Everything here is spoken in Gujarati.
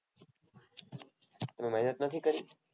મહેનત નથી કરી?